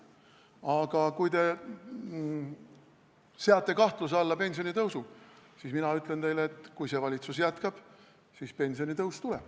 Aga kui te seate kahtluse alla pensionitõusu, siis mina ütlen teile, et kui see valitsus jätkab, siis pensionitõus tuleb.